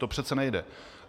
To přece nejde.